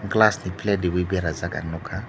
plastic plate rewui berajak ang nugkha.